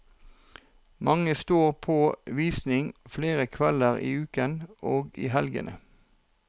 Mange står på visning flere kvelder i uken og i helgene.